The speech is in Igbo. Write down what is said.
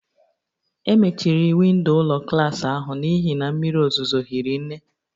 E mechiri windo ụlọ klas ahụ n'ihi na mmiri ozuzo hiri nne